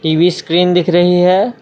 TV screen दिख रही है।